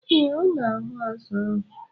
Ee, ọ na-ahu azu ahụ.